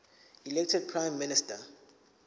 elected prime minister